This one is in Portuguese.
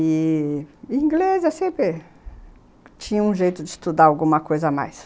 E inglês, assim, sempre... tinha um jeito de estudar alguma coisa a mais.